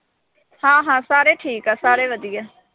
ਹਾਂ-ਹਾਂ, ਸਾਰੇ ਠੀਕ ਆ, ਸਾਰੇ ਵਧੀਆ।